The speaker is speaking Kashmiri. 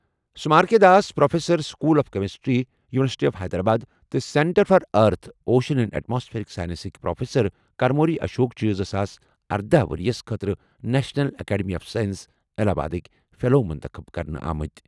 Samar K Das, professor, school of chemistry, university of Hyderabad تہٕ centre for earth, ocean and atmospheric سائنسزٕکۍ پروفیسر کرموری اشوک چھِ زٕ ساس ارَدہ ؤرۍ یَس خٲطرٕ نیشنل اکیڈمی آف سائنسز، الہ آبادٕک فیلو منتخب کرنہٕ آمٕتۍ۔